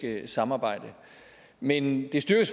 samarbejde men det styrker